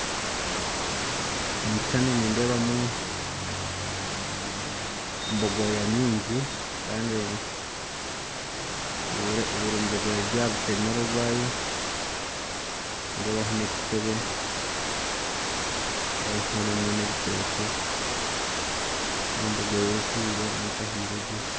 Omu kishuushani nindeebamu bogoya nyingi kandi buri bogoya eri aha rutemeere orwayo nindeebaho n'ekiteebe nindeebaho n'ebitookye nindeebamu bogoya ehiire n'etahiiregye